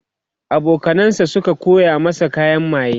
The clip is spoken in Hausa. abokanan sa Suka koya masa kayan maye